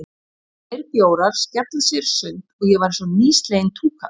Tveir bjórar, skella sér í sund, og ég var einsog nýsleginn túkall.